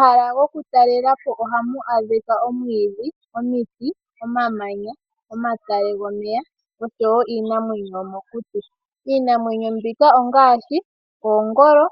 Omahala goku talelapo ohamu adhikwa omwidhi, omiti, omamanya, omatale gomeya oshowo iinamwenyo yomokuti. Iinamwenyo mbika ongashi oongolo,